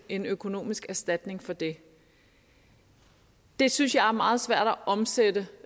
en økonomisk erstatning for det det synes jeg er meget svært at omsætte